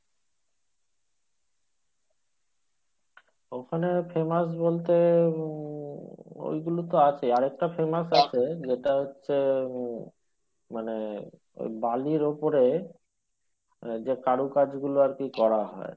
ওখানে famous বলতে উম ওইগুলো তো আছে আরেকটা famous আছে যেটা হচ্ছে উম মানে ওই বালির উপরে ওরা যে কারুকার্য গুলো আরকি করা হয়